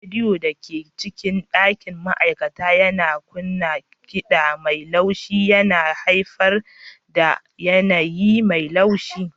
Rediyon da ke cikin ɗakin ma'aikata yana kunna kiɗa mai laushi yana haifar da yanayi mai natsuwa.